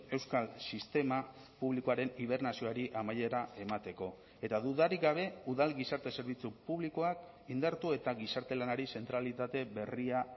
euskal sistema publikoaren hibernazioari amaiera emateko eta dudarik gabe udal gizarte zerbitzu publikoak indartu eta gizarte lanari zentralitate berria